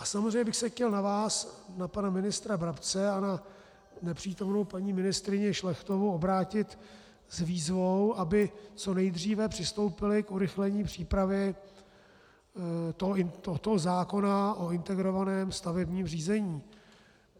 A samozřejmě bych se chtěl na vás, na pana ministra Brabce a na nepřítomnou paní ministryni Šlechtovou, obrátit s výzvou, aby co nejdříve přistoupili k urychlení přípravy tohoto zákona o integrovaném stavebním řízení.